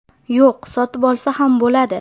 Yo‘q, sotib olsa ham bo‘ladi.